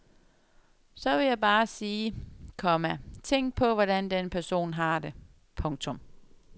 Så vil jeg bare sige, komma tænk på hvordan den person har det. punktum